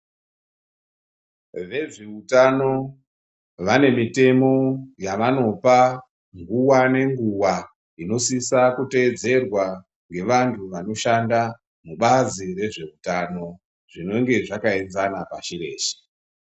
Vezveutano vane mutemo yavanopa nguva ngenguva inosise kutevedzerwa ngevantu vanoshanda mubazi rezveutano zvinenge zvakaenzana pasi reshe.